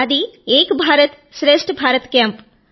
అది ఏక్ భారత్ శ్రేష్ఠ భారత్ కేంప్